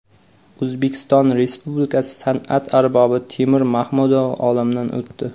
O‘zbekiston Respublikasi san’at arbobi Temur Mahmudov olamdan o‘tdi.